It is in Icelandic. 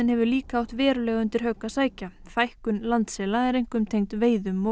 hefur líka átt verulega undir högg að sækja fækkun landsela er einkum tengd veiðum og